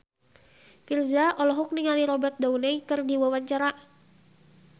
Virzha olohok ningali Robert Downey keur diwawancara